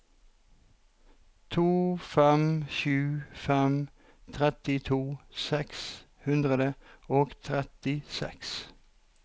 to fem sju fem trettito seks hundre og trettiseks